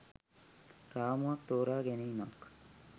රාමුවක් තෝරා ගැනීමක්.